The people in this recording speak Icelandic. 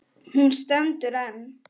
Hún stendur enn.